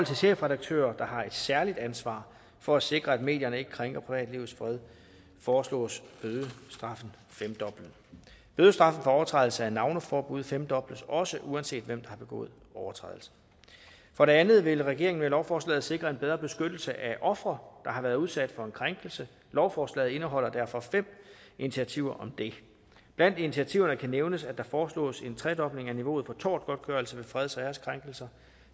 chefredaktører der har et særligt ansvar for at sikre at medierne ikke krænker privatlivets fred foreslås bødestraffen femdoblet bødestraffen for overtrædelse af navneforbud femdobles også uanset hvem har begået overtrædelsen for det andet vil regeringen med lovforslaget sikre en bedre beskyttelse af ofre der har været udsat for en krænkelse lovforslaget indeholder derfor fem initiativer om det blandt initiativerne kan nævnes at der foreslås en tredobling af niveauet for tortgodtgørelse ved freds og æreskrænkelser